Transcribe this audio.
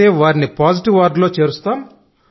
వస్తే వారిని పాజిటివ్ వార్డులో చేరుస్తాం